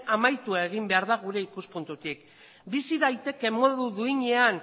amaitu egin behar da gure ikuspuntutik bizi daiteke modu duinean